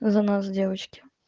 за нас девочки